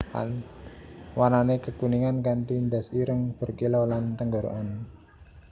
Warnané kekuningan kanti ndas ireng berkilau lan tenggorokan ireng